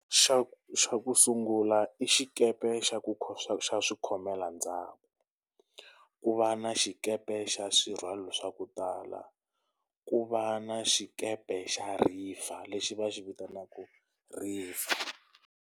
Xa xa ku sungula i xikepe xa ku xa xa swi khomela ndyangu. Ku va na xikepe xa swirhwalwa swa ku tala, ku va na xikepe xa river lexi va xi vitanaka River.